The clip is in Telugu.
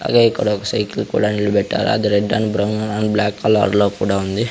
అదే ఇక్కడ ఒక సైకిల్ కూడా నిలబెట్టారు అది red and brown and black colour లో కుడా ఉంది.